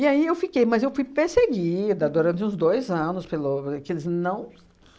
aí eu fiquei, mas eu fui perseguida durante uns dois anos pelo que eles não